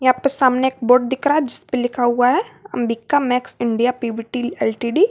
सामने एक बोर्ड दिख रहा है जिसपे लिखा हुआ है Ambika Max India PVT LTD.